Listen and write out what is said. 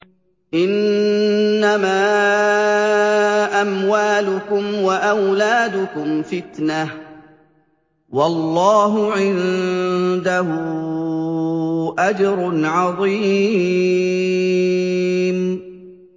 إِنَّمَا أَمْوَالُكُمْ وَأَوْلَادُكُمْ فِتْنَةٌ ۚ وَاللَّهُ عِندَهُ أَجْرٌ عَظِيمٌ